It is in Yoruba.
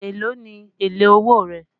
Èló ni èlé owó rẹ̀?